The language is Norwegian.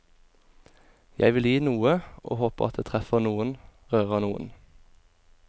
Jeg vil gi noe, og håper at det treffer noen, rører noen.